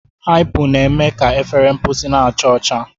Hypo na-eme ka efere mposi na-acha ọcha.